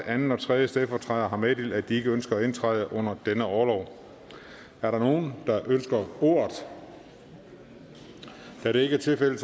anden og tredje stedfortræder har meddelt at de ikke ønsker at indtræde under denne orlov er der nogen der ønsker ordet da det ikke er tilfældet